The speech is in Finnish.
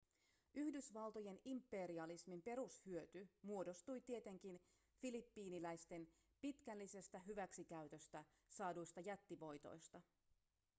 yhdysvaltojen imperialismin perushyöty muodostui tietenkin filippiiniläisten pitkällisestä hyväksikäytöstä saaduista jättivoitoista